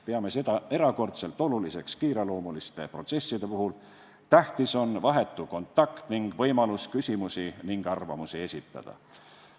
Peame seda erakordselt oluliseks kiireloomuliste protsesside puhul, tähtis on vahetu kontakt ning võimalus küsimusi ja arvamusi esitada.